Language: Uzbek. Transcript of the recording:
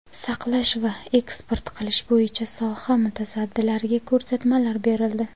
saqlash va eksport qilish bo‘yicha soha mutasaddilariga ko‘rsatmalar berildi.